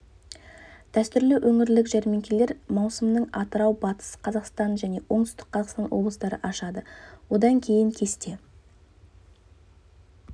дәстүрлі өңірлік жәрмеңкелер маусымын атырау батыс қазақстан және оңтүстік қазақстан облыстары ашады одан кейін кесте